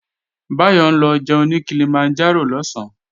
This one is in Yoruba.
Báyọ̀ ń lọ jẹun ní Kilimanjaro lọ̀sán